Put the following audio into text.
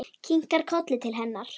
Kinkar kolli til hennar.